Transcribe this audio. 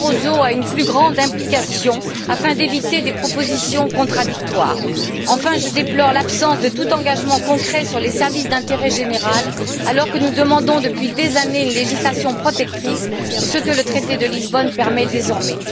Barroso à une plus grande implication afin d'éviter des propositions contradictoires. Enfin, je déplore l'absence de tout engagement concret sur les services d'intérêt général alors que nous demandons depuis des années une législation protectrice, ce que le traité de Lisbonne permet désormais.